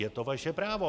Je to vaše právo.